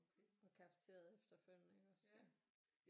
Og cafeteriet efterfølgende iggås så